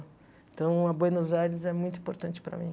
Então, a Buenos Aires é muito importante para mim.